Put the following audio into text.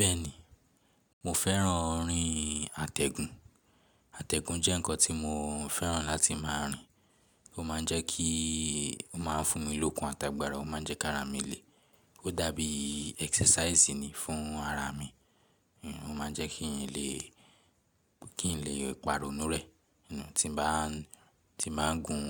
Bẹ́ẹ̀ni, mo fẹ́ràn orin àtẹ̀gùn. Àtẹ̀gùn jẹ́ ǹkan tí mo fẹ́ràn láti máa rin. Ó má ń jẹ́ kí, ó má ń fún mi lókun àtàgbàrà, ó má ń jẹ́ kí ara mi le. Ó dàbí exercise ni fún ara mi. Ó ma ń jẹ́ kí ń lè, kí ń lè parọ́nú rẹ̀. Tí mo bá ń, tí bà ń gun